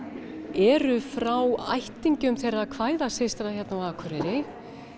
eru frá ættingjum þeirra kvæðasystra á Akureyri